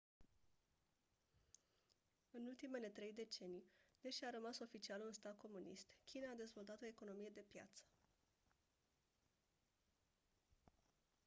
în ultimele trei decenii deși a rămas oficial un stat comunist china a dezvoltat o economie de piață